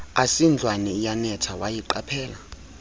asindlwana iyanetha wayiqaphela